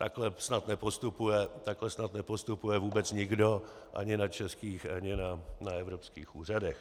Takhle snad nepostupuje vůbec nikdo ani na českých ani na evropských úřadech.